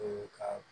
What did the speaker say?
ka